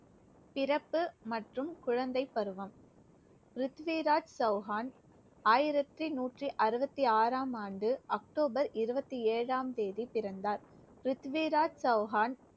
பிறப்பு மற்றும் குழந்தைப் பருவம். பிருத்திவிராஜ் சௌகான், ஆயிரத்தி நூற்றி அறுபத்தி ஆறாம் ஆண்டு அக்டோபர் இருபத்தி ஏழாம் தேதி பிறந்தார். பிருத்திவிராஜ் சௌகான்